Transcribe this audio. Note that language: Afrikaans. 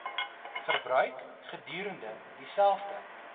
verbruik gedurende dieselfde